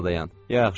Bir az da dayan.